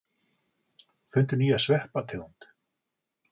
Fundu nýja sveppategund